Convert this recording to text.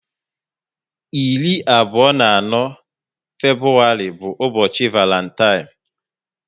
irí abụọ na anọ Febrụwarị bu ubochi Varantine